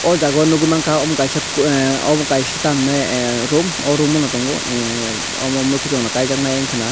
o jagao nogoi mangka amo kaisa ah abo kaisa tam hinai a room o room no tongo emm mokitong rok kajaknai wngka na.